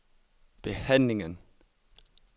behandlingen